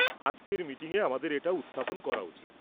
আজকের মিটিংয়ে আমাদের এটা উত্থাপন করা উচিত।